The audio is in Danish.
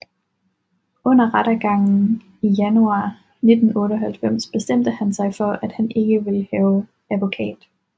Under rettergangen i januar 1998 bestemte han sig for at ikke at ville have advokat